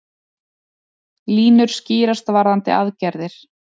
Línur skýrast varðandi aðgerðir